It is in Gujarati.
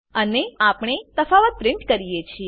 અને અહીં આપણે તફાવતને પ્રીંટ કરીએ છીએ